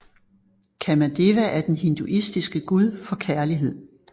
Kāmadeva er den hinduistiske gud for kærlighed